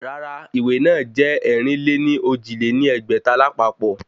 Rárá ìwé náà jẹ́ ẹ̀rin-lé-ní-ojì lé ní ẹgbẹ́ta lápapọ̀